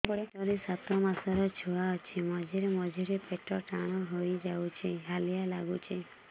ପେଟ ରେ ସାତମାସର ଛୁଆ ଅଛି ମଝିରେ ମଝିରେ ପେଟ ଟାଣ ହେଇଯାଉଚି ହାଲିଆ ଲାଗୁଚି